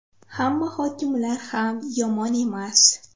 Hamma hokimlar ham yomon emas.